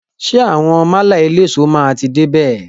Ṣé àwọn málà eléso máa ti dé bè?